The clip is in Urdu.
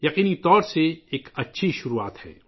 یقیناً یہ ایک اچھی شروعات ہے